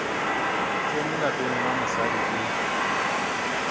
tsene lapeng la mosadi e